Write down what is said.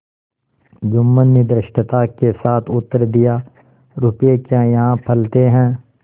जुम्मन ने धृष्टता के साथ उत्तर दियारुपये क्या यहाँ फलते हैं